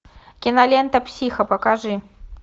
кинолента психа покажи